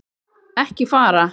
Ekki fara.